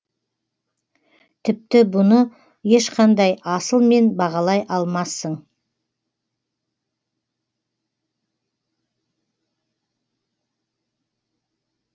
тіпті бұны ешқандай асылмен бағалай алмассың